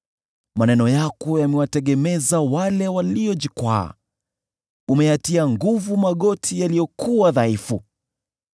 Maneno yako yamewategemeza wale waliojikwaa; umeyatia nguvu magoti yaliyokuwa dhaifu.